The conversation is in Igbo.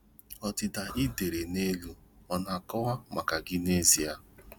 Ọdịda ị dere n'elu ọ na-akọwa maka gị n'ezie?